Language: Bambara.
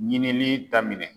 Ɲininli daminɛ.